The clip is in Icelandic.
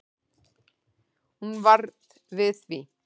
Hún varð við því